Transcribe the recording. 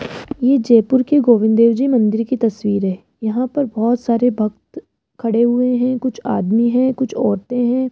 ये जयपुर के गोविंद देव जी मंदिर की तस्वीर है यहां पर बहोत सारे भक्त खड़े हुए है कुछ आदमी है कुछ औरतें हैं।